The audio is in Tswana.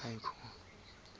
tsa set haba tse di